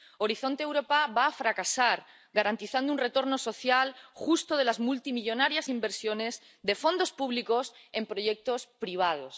Horizonte Europa va a fracasar a la hora de garantizar un retorno social justo de las multimillonarias inversiones de fondos públicos en proyectos privados.